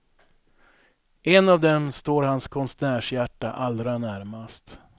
En av dem står hans konstnärshjärta allra närmast.